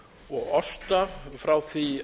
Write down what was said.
og osta frá því